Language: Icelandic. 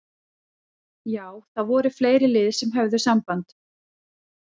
Já það voru fleiri lið sem að höfðu samband.